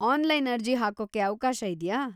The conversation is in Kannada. ಆನ್ಲೈನ್‌ ಅರ್ಜಿ ಹಾಕೋಕೆ ಅವ್ಕಾಶ ಇದ್ಯಾ?